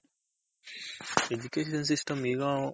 Education system ಈಗ